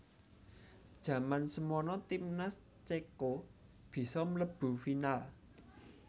Jaman semono timnas cèko bisa mlebu final